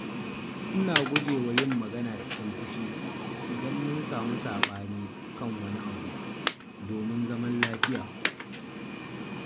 Ina guje wa yin magana cikin fushi idan mun samu saɓani kan wani abu, domin zaman lafiya.